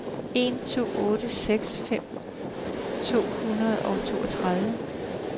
en to otte seks femten to hundrede og toogtredive